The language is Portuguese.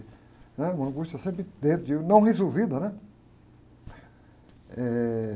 né? Uma angústia sempre dentro de mim, mal resolvida, né? Eh...